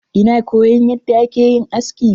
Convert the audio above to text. Ina koyon yadda akeyin aski.